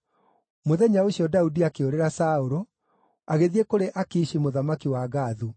Mũthenya ũcio Daudi akĩũrĩra Saũlũ, agĩthiĩ kũrĩ Akishi mũthamaki wa Gathu.